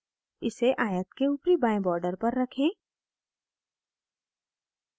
इसे आयत के ऊपरी बाएं border पर रखें